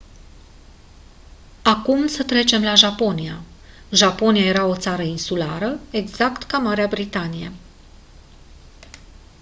acum să trecem la japonia japonia era o țară insulară exact ca marea britanie